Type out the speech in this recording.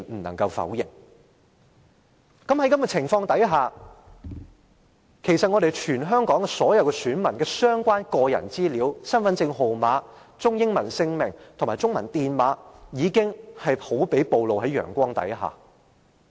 那麼，在此情況下，其實全香港所有選民的相關個人資料，包括身份證號碼、中英文姓名及中文姓名電碼，便好比暴露於陽光下。